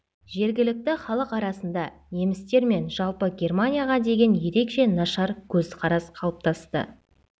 жергілікті халық арасында немістер мен жалпы германияға деген ерекше нашар көзқарас қалыптасты